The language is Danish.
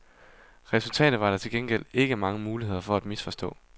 Resultatet var der til gengæld ikke mange muligheder for at misforstå.